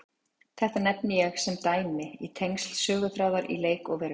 Þetta nefni ég sem dæmi um tengsl söguþráðar í leik og veruleik.